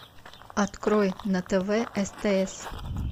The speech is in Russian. открой на тв стс